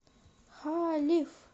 халиф